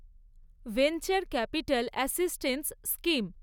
venture capital assistance scheme